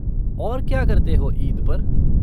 और क्या करते हो ईद पर?